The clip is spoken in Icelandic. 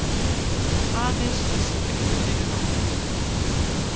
Aðeins sé greitt fyrir notkun